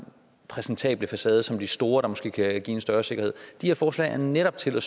præsentable facade som de store der måske kan give en større sikkerhed de her forslag er netop tænkt at